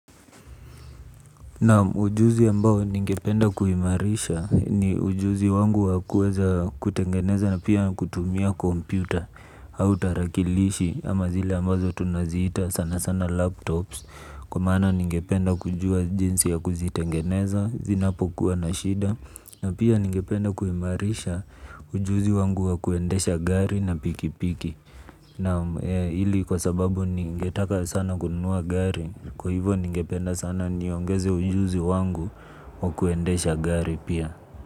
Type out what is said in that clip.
Naam ujuzi ambao ningependa kuimarisha ni ujuzi wangu wa kuweza kutengeneza na pia kutumia kompyuta ama tarakilishi ama zile ambazo tunaziita sanasana laptops kwa maana ningependa kujua jinsi ya kuzitengeneza zinapokuwa na shida. Na pia ningependa kuimarisha ujuzi wangu wa kuendesha gari na pikipiki. Naam ili kwa sababu ningetaka sana kununua gari. Kwa hivyo ningependa sana niongeze ujuzi wangu wa kuendesha gari pia.